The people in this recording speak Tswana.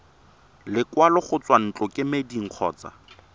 lekwalo go tswa ntlokemeding kgotsa